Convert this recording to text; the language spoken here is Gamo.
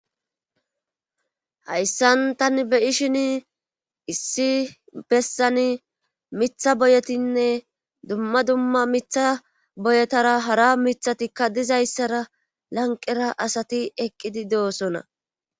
hayssan tani be'ishin issi bessani mitha boyetinne dumma dumma mitha boyetara hara mithatikka dizayssara lanqera asati eqqidi de'osona